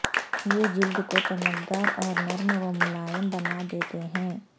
یہ جلد کو چمکدار اور نرم و ملائم بنا دہتے ہیں